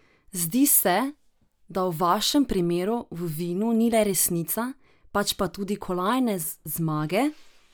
Zdi se, da v vašem primeru v vinu ni le resnica, pač pa tudi kolajne, zmage?